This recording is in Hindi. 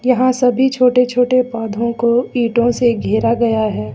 यहां सभी छोटे छोटे पौधों को ईंटों से घेरा गया है।